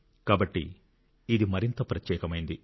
కాబట్టి ఇది మరింత ప్రత్యేకమైంది